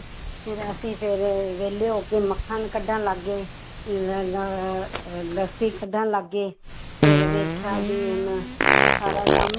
ਫਿਰ ਅਸੀਂ ਫਿਰ ਵਿਹਲੇ ਹੋ ਕੇ ਮੱਖਣ ਕੱਢਣ ਲੱਗ ਗਏ ਅਹ ਲੱਸੀ ਕੱਢਣ ਲੱਗ ਗਏ ਫਿਰ ਵੇਖਿਆ ਵੀ ਹੁਣ ਸਾਰਾ ਕੰਮ,